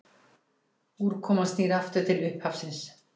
Úrkoman snýr aftur til upphafsins.